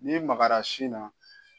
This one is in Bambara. N'i magara sin na